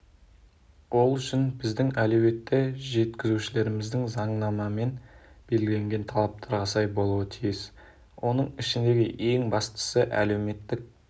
ол үшін біздің әлеуетті жеткізушілеріміз заңнамамен белгіленген талаптарға сай болуы тиіс оның ішіндегі ең бастысы әлеуметтік